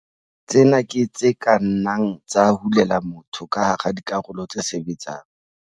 Tsena ke tse ka nnang tsa hulela motho ka hara dikarolo tse sebetsang.